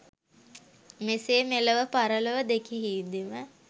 මෙසේ මෙලොව පරලොව දෙකෙහිදීම